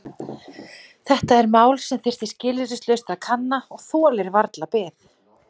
Þetta er mál sem þyrfti skilyrðislaust að kanna og þolir varla bið.